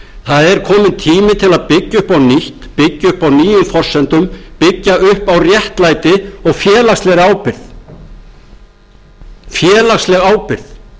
það er kominn tími til að byggja upp á nýtt byggja upp á nýjum forsendum byggja upp á réttlæti og félagslegri ábyrgð félagsleg ábyrgð á